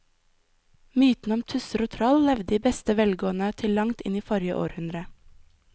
Mytene om tusser og troll levde i beste velgående til langt inn i forrige århundre.